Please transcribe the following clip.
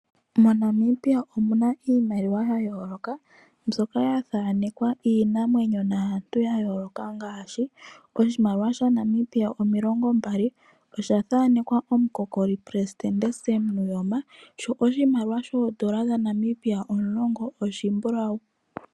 MoNamibia omuna iimaliwa ya yooloka, mbyoka ya thaanekwa iinamwenyo naantu ya yooloka ngaashi oshimaliwa sha Namibia oondola omilongo mbali osha thaanekwa omukokoli president Sam Nuuyoma sho oshimaliwa shaNamibia ondola omulongo oshi mbulawu.